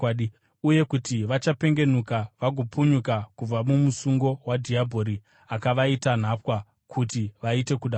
uye kuti vachapengenuka vagopunyuka kubva mumusungo wadhiabhori, akavaita nhapwa kuti vaite kuda kwake.